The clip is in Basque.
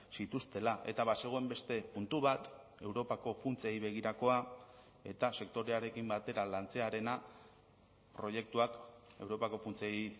zituztela eta bazegoen beste puntu bat europako funtsei begirakoa eta sektorearekin batera lantzearena proiektuak europako funtsei